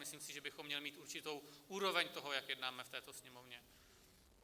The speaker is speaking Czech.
Myslím si, že bychom měli mít určitou úroveň toho, jak jednáme v této Sněmovně.